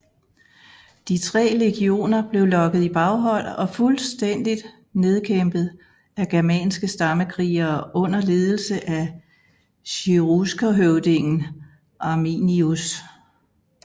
De tre legioner blev lokket i baghold og fuldstændigt nedkæmpet af germanske stammekrigere under ledelse af cheruskerhøvdingen Arminius